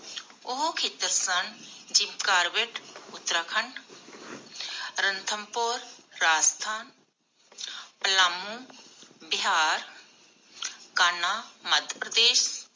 ਉਹ ਖੇਤਰ ਸਨ ਜਿਮ ਕਾਰਬੈੱਟ ਉਤਰਾਖੰਡ, ਰੰਥਮਬੋਰ ਰਾਜਸਥਾਨ, ਉਲਾਮੁ ਬਿਹਾਰ, ਕਾਨ੍ਹਾ ਮਧਯਪ੍ਰਦੇਸ਼,